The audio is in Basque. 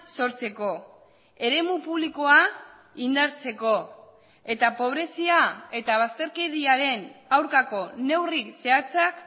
sortzeko eremu publikoa indartzeko eta pobrezia eta bazterkeriaren aurkako neurrik zehatzak